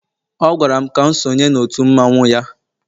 ọ gwara m ka m sonye n'òtù mmanwu ya